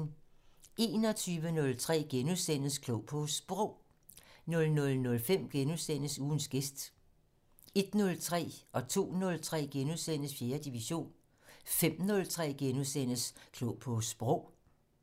21:03: Klog på Sprog * 00:05: Ugens gæst * 01:03: 4. division * 02:03: 4. division * 05:03: Klog på Sprog *